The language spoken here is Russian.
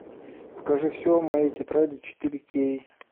покажи все о моей тетради четыре кей